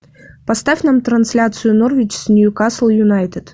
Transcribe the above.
поставь нам трансляцию норвич с ньюкасл юнайтед